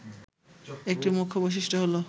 একটি মুখ্য বৈশিষ্ট্য হলো